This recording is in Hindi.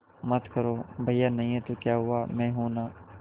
मत करो भैया नहीं हैं तो क्या हुआ मैं हूं ना